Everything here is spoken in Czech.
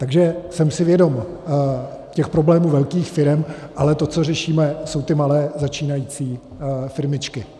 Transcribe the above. Takže jsem si vědom těch problémů velkých firem, ale to, co řešíme, jsou ty malé začínající firmičky.